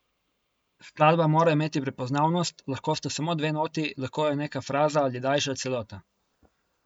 Skladba mora imeti prepoznavnost, lahko sta samo dve noti, lahko je neka fraza ali daljša celota.